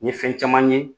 N ye fɛn caman ye